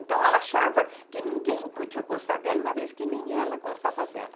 Então, ela achava que ninguém podia gostar dela, uma vez que nem ela gostava dela.